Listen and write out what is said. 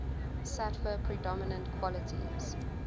sattva predominant qualities